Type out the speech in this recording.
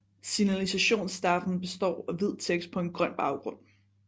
Signalisationstafeln består af hvid tekst på en grøn baggrund